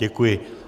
Děkuji.